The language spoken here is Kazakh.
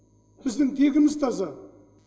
біздің тегіміз таза